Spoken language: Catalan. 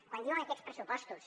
quan diuen que aquests pressupostos